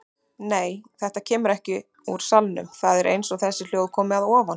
Nei, þetta kemur ekki úr salnum, það er eins og þessi hljóð komi að ofan.